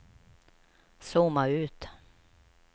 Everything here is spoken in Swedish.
zooma ut